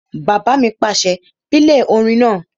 Bàbá mi pàṣẹ, "pílè orin náà!"